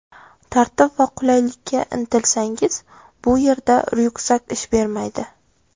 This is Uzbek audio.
Tartib va qulaylikka intilsangiz, bu yerda ryukzak ish bermaydi.